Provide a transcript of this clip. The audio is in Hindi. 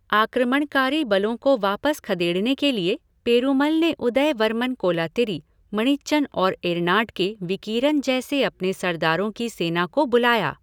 आक्रमणकारी बलों को वापस खदेड़ने के लिए, पेरूमल ने उदय वर्मन कोलातिरी, मणिच्चन और एरनाड के विकीरन जैसे अपने सरदारों की सेना को बुलाया।